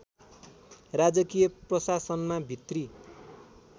राजकीय प्रशासनमा भित्री